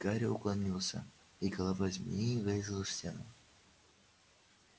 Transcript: гарри уклонился и голова змеи врезалась в стену